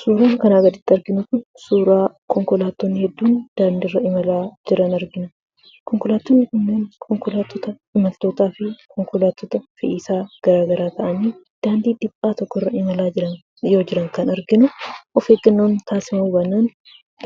Suuraan kanaa gaditti arginu Kun, suuraa konkolaattonni hedduun daandii irra imalaa jiran argina. Konkolaattonni kunniin konkolaattota imaltootaa fi konkolaattota fe'isaa garaagaraa ta'anii daandii dhiphoo tokko irra imalaa yoo jiran yeroo jiran kan arginu. Of eeggannoon taasifamuu baannaan